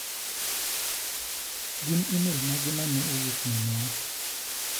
Gin imelmage mane owuok minwa?